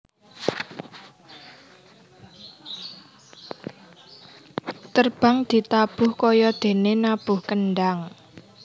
Terbang ditabuh kayadéné nabuh kendhang